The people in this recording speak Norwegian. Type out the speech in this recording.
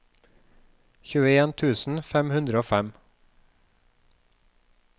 tjueen tusen fem hundre og fem